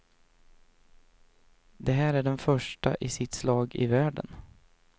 Den här är den första i sitt slag i världen.